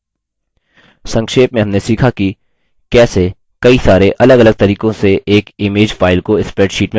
संक्षेप में हमने सीखा कि कैसेकई सरे अलगअलग तरीकों से एक image file को spreadsheet में प्रविष्ट करें